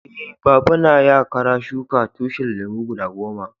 Eh, baba na ya kara shuka tushin lemu guda goma.